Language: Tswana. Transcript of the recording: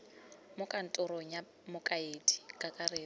mo kantorong ya mokaedi kakaretso